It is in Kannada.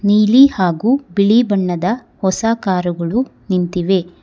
ನೀಲಿ ಹಾಗೂ ಬಿಳಿ ಬಣ್ಣದ ಹೊಸ ಕಾರುಗಳು ನಿಂತಿವೆ.